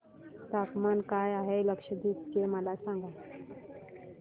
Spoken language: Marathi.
तापमान काय आहे लक्षद्वीप चे मला सांगा